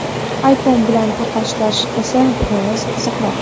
iPhone bilan taqqoslash esa biroz qiziqroq.